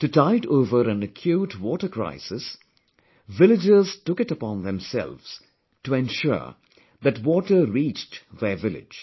To tide over an acute water crisis, villagers took it upon themselves to ensure that water reached their village